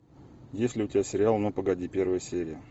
есть ли у тебя сериал ну погоди первая серия